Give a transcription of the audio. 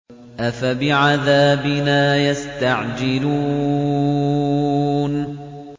أَفَبِعَذَابِنَا يَسْتَعْجِلُونَ